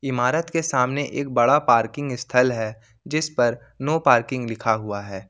इमारत के सामने एक बड़ा पार्किंग इस्थल है जिस पर नो पार्किंग लिखा हुआ है।